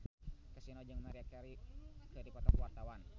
Kasino jeung Maria Carey keur dipoto ku wartawan